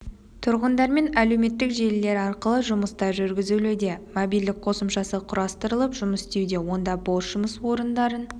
тұрғындармен әлеуметтік желілер арқылы жұмыстар жүргізілуде мобильдік қосымшасы құрастырылып жұмыс істеуде онда бос жұмыс орындарын